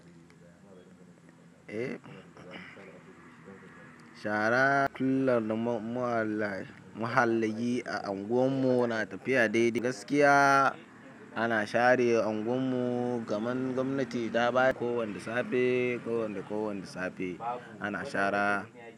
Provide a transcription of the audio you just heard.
Eh, shara kullar da muhallaye a unguwarmu na tafiya daidai gaskiya. Ana share unguwan mu, kaman gwamnati ta ba ko wanna safe ko wane ko wanne safe ana shara.